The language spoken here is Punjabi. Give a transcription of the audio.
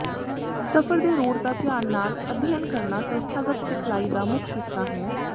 ਸਫ਼ਰ ਦੇ ਰੂਟ ਦਾ ਧਿਆਨ ਨਾਲ ਅਧਿਐਨ ਕਰਨਾ ਸੰਸਥਾਗਤ ਸਿਖਲਾਈ ਦਾ ਮੁੱਖ ਹਿੱਸਾ ਹੈ